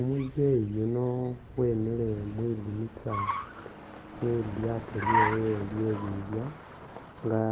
Umuzeyi yuno wemile mwidinisa mwe lilyaato lyewe lye bibya nga